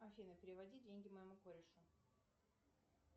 афина переводи деньги моему корешу